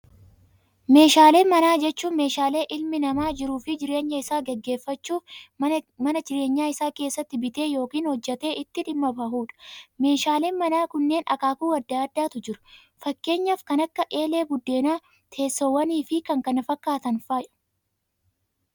Meeshaalee manaa jechuun, meeshaalee ilmi namaa jiruu fi jireenya isaa gaggeeffachuuf mana jireenyaa isaa keessatti bitee yookaan hojjetee itti dhimma bahudha. Meeshaaleen manaa kunneen akaakuu addaa addaatu jiru. Fakkeenyaaf kan akka eelee buddeenaa, teessoowwan fi kan kana fakkaatan fa'aa.